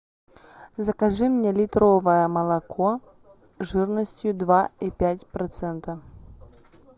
закажи мне литровое молоко жирностью два и пять процента